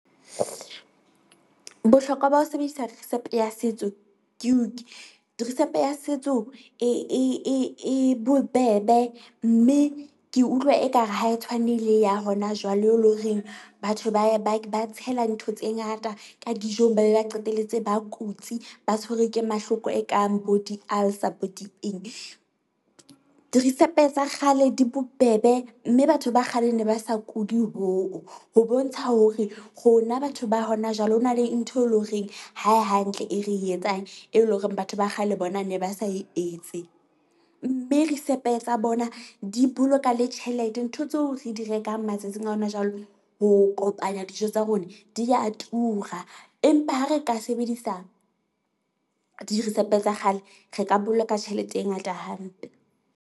Bohlokwa ba ho sebedisa risepe ya setso ke , risepe ya setso e e e e bobebe mme ke utlwa ekare ha e tshwane le ya hona jwale, eleng horeng batho ba e ba ba tshela ntho tse ngata ka dijong. Ba be ba qetelletse ba kutsi, ba tshwerwe ke mahloko e kang bo di-ulcer bo di eng. Dirisepe tsa kgale di bobebe mme batho ba kgale ne ba sa kuli hoo ho bontsha hore rona batho ba hona jwale, hona le ntho e leng horeng ha e hantle e re etsang. E leng hore batho ba kgale bona ne ba sa e etse, mme risepe tsa bona di boloka le tjhelete. Ntho tseo re di rekang matsatsing a hona jwale. Ho kopanya dijo tsa rona di ya tura, empa ha re ka sebedisa dirisepe tsa kgale, re ka boloka tjhelete e ngata hampe.